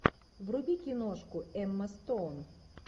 вруби киношку эмма стоун